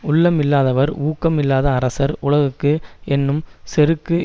உள்ளம் இல்லாதவர் ஊக்கம் இல்லாத அரசர் உலகுக்கு என்னும் செருக்கு